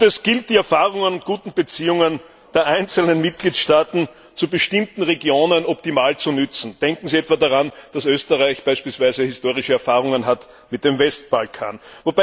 Es gilt, die Erfahrungen und guten Beziehungen der einzelnen Mitgliedstaaten zu bestimmten Regionen optimal zu nutzen. Denken Sie etwa daran, dass Österreich beispielsweise historische Erfahrungen mit dem Westbalkan hat.